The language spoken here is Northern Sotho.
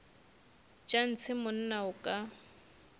tša ntshe monna o ka